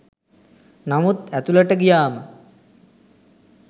නමුත් ඇතුලට ගියාම